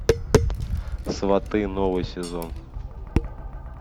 сваты новый сезон